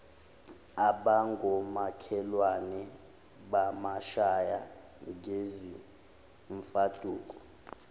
abangomakhelwane bamshaya ngezimfaduko